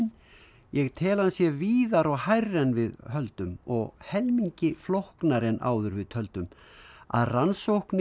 ég tel hann sé víðari og hærri en við höldum og helmingi flóknari en áður við töldum að rannsóknir